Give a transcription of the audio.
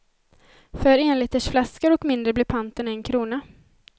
För enlitersflaskor och mindre blir panten en krona.